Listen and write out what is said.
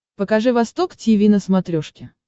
покажи восток тиви на смотрешке